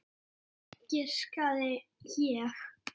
Fisk, giskaði ég.